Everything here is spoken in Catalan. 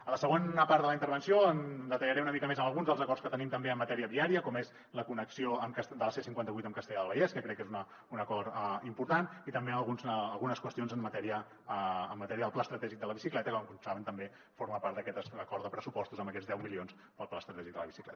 a la segona part de la intervenció detallaré una mica més alguns dels acords que tenim també en matèria viària com és la connexió de la c cinquanta vuit amb castellar del vallès que crec que és un acord important i també algunes qüestions en matèria del pla estratègic de la bicicleta que com saben també forma part d’aquest acord de pressupostos amb aquests deu milions per al pla estratègic de la bicicleta